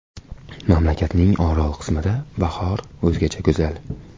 Mamlakatning orol qismida bahor o‘zgacha go‘zal.